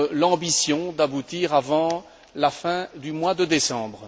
l'ambition d'aboutir avant la fin du mois de décembre.